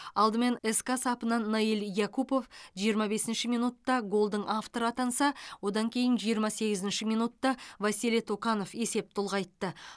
алдымен ска сапынан наиль якупов жиырма бесінші минутта голдың авторы атанса одан кейін жиырма сегізінші минутта василий токанов есепті ұлғайтты